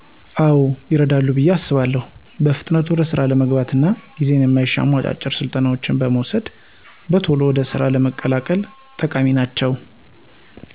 አዎ ይረዳሉ ብየ አስባለሁ በፍጥነት ወደ ስራ ለመግባት እና ጌዜን የማይሻሙ አጫጭር ስልጠናዎች በመዉሰድ በቶሎ ወደ ስራ ለመቀላቀል ጠቃሚ ናቸዉ።